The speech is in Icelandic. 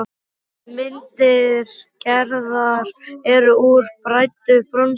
Myndir Gerðar eru úr bræddu bronsi.